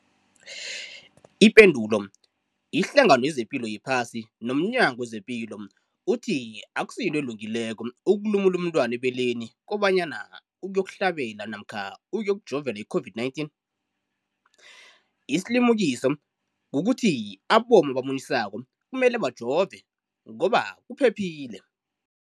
Ipendulo, iHlangano yezePilo yePhasi nomNyango wezePilo ithi akusinto elungileko ukulumula umntwana ebeleni kobanyana uyokuhlabela namkha uyokujovela i-COVID-19. Isilimukiso kukuthi abomma abamunyisako kumele bajove ngoba kuphephile.